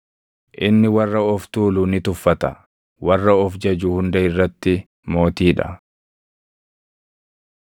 Inni warra of tuulu ni tuffata; warra of jaju hunda irratti mootii dha.”